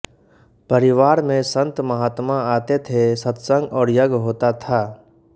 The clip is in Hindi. परिवार में संतमहात्मा आते थे सत्संग और यज्ञ होता था